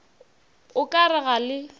o ka re ga le